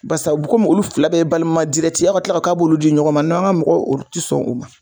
Barisa u bɛ komi olu fila bɛɛ ye balima ye aw ka kila k'a b'olu di ɲɔgɔn ma , an ka mɔgɔw olu ti sɔn o ma